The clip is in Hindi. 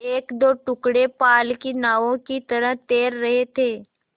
एकदो टुकड़े पाल की नावों की तरह तैर रहे थे